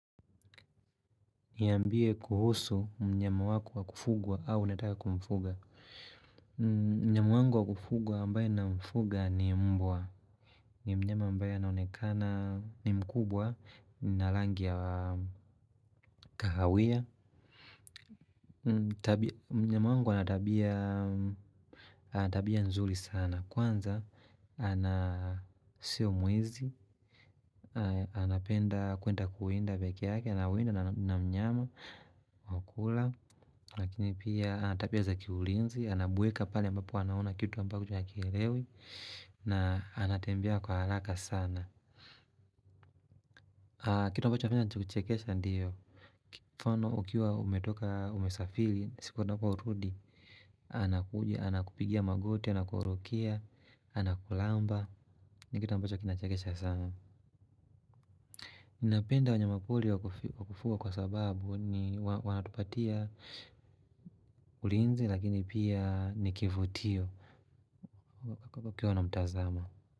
Niambie kuhusu mnyama wako wa kufugwa au unataka kumfuga mnyama wangu wa kufugwa ambaye namfuga ni mbwa. Ni mnyama ambaye anaonekana ni mkubwa na rangi ya kahawia. Mnyama wangu ana tabia nzuri sana. Kwanza, ana sio mwizi. Anapenda kwenda kuenda pekee yake. Anaoenda na mnyama, wa kula. Lakini pia ana tabia za kiulinzi. Anabweka pale ambapo anaona kitu ambacho hakielewi na anatembea kwa haraka sana kitu ambacho nachokichekesha ndiyo mfano ukiwa umetoka umesafiri siku anaporudi anakuja, anakupigia magoti, anakurukia anakulamba. Ni kitu ambacho kinachekesha sana napenda wanyamapori wakufuga kwa sababu ni wanatupatia ulinzi lakini pia ni kivutio kwa kukiwa na mtazamo.